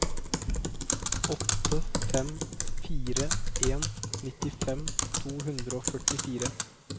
åtte fem fire en nittifem to hundre og førtifire